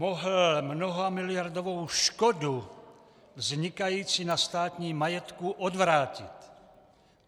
Mohl mnohamiliardovou škodu vznikající na státním majetku odvrátit.